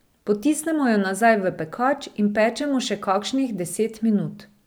Potisnemo jo nazaj v pekač in pečemo še kakšnih deset minut.